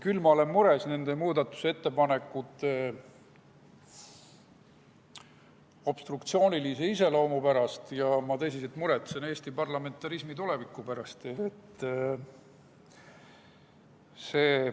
Küll olen ma mures muudatusettepanekute obstruktsioonilise iseloomu pärast ja ma tõsiselt muretsen Eesti parlamentarismi tuleviku pärast.